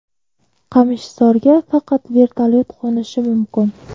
Qamishzorga faqat vertolyot qo‘nishi mumkin.